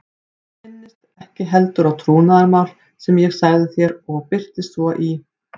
Þú minnist ekki heldur á trúnaðarmál sem ég sagði þér og birtist svo í